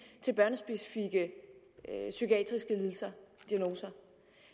til børnespecifikke psykiatriske lidelser og diagnoser